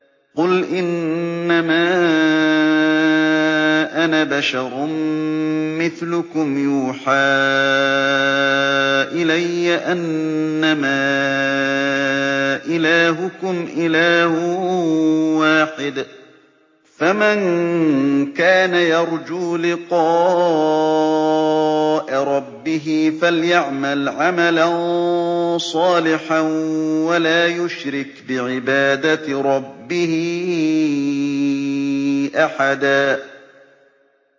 قُلْ إِنَّمَا أَنَا بَشَرٌ مِّثْلُكُمْ يُوحَىٰ إِلَيَّ أَنَّمَا إِلَٰهُكُمْ إِلَٰهٌ وَاحِدٌ ۖ فَمَن كَانَ يَرْجُو لِقَاءَ رَبِّهِ فَلْيَعْمَلْ عَمَلًا صَالِحًا وَلَا يُشْرِكْ بِعِبَادَةِ رَبِّهِ أَحَدًا